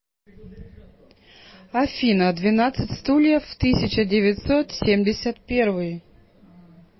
афина двенадцать стульев тысяча девятьсот семьдесят первый